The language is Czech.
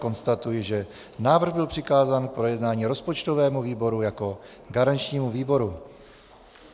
Konstatuji, že návrh byl přikázán k projednání rozpočtovému výboru jako garančnímu výboru.